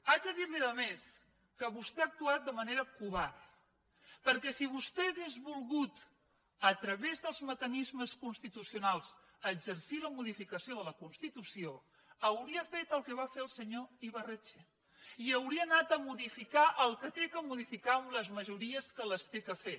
haig de dir li a més que vostè ha actuat de manera covarda perquè si vostè hagués volgut a través dels mecanismes constitucionals exercir la modificació de la constitució hauria fet el que va fer el senyor ibarretxe i hauria anat a modificar el que ha de modificar amb les majories amb què les ha de fer